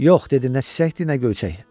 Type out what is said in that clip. Yox, dedi, nə çiçəkdir, nə göyçək.